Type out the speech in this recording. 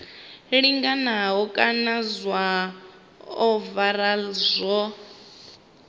linganaho kana zwa ovala zwo